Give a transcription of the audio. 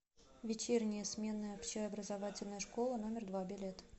вечерняя сменная общеобразовательная школа номер два билет